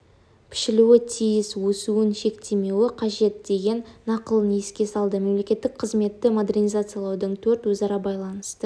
пішілуі тиіс өсуін шектемеуі қажет деген нақылын еске салды мемлекеттік қызметті модернизациялаудың төрт өзара байланысты